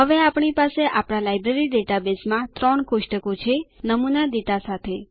હવે આપણી પાસે આપણા લાઈબ્રેરી ડેટાબેઝમાં ત્રણ કોષ્ટકો છે નમૂના ડેટા સાથે